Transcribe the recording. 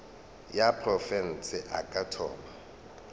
ya profense a ka thoma